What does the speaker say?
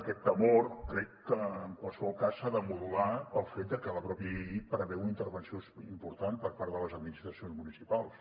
aquest temor crec que en qualsevol cas s’ha de modular pel fet de que la mateixa llei preveu una intervenció important per part de les administracions municipals